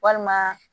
Walima